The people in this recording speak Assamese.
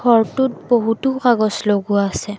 ঘৰটোত বহুতো কাগজ লগোৱা আছে।